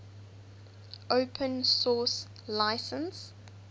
open source license